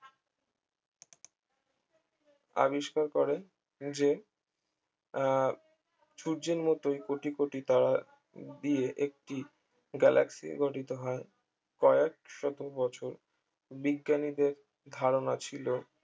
আবিষ্কার করে যে আহ সূর্যের মতোই কোটি কোটি তারা দিয়ে একটি গ্যালাক্সি গঠিত হয় কয়েকশত বছর বিজ্ঞানীদের ধারণা ছিল